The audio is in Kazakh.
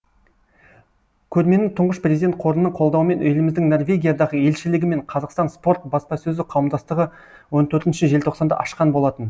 көрмені тұңғыш президент қорының қолдауымен еліміздің норвегиядағы елшілігі мен қазақстан спорт баспасөзі қауымдастығы он төртінші желтоқсанда ашқан болатын